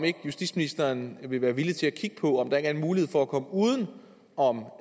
justitsministeren vil være villig til at kigge på om der er en mulighed for at komme uden om